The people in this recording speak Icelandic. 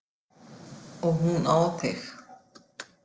Og hún á þig.